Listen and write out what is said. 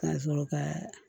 Ka sɔrɔ kaa